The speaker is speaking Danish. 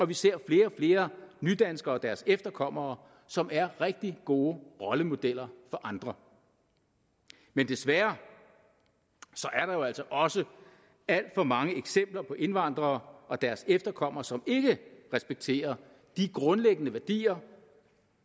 vi ser flere og flere nydanskere og deres efterkommere som er rigtig gode rollemodeller for andre men desværre er der jo altså også alt for mange eksempler på indvandrere og deres efterkommere som ikke respekterer de grundlæggende værdier